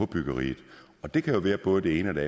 byggeriet og det kan være både det ene eller